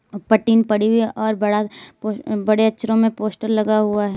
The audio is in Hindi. ऊपर टीन पड़ी हुई है और बड़ा बड़े अक्षरों में पोस्टर लगा हुआ है।